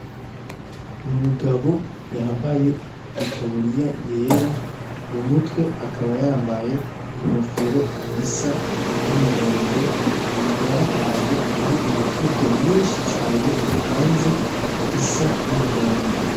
N'umugabo yambaye itaburiya yera , mumutwe akaba yambaye inkofero isa numuhondo akaba arahantu hari imifuko myinshi cane ipanze isa numuhondo.